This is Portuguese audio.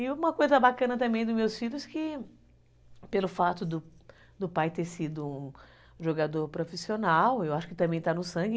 E uma coisa bacana também dos meus filhos que, pelo fato do pai ter sido um jogador profissional, eu acho que também está no sangue.